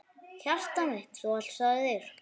Hjartað mitt Þú ávallt sagðir.